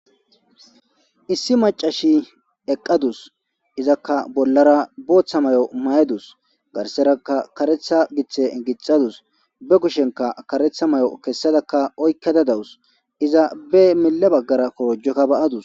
Issi macashi eqqadus izakka bollara booththa may7o mayedus garserakka karetha githe gixadus be kushenka karetha may7o kessadakka oykkada dawus iza be mille baggara korjekka ba7adus.